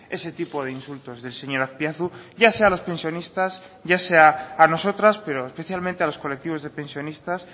ese tipo de insultos del señor azpiazu ya sea a los pensionistas ya sea a nosotras pero especialmente a los colectivos de pensionistas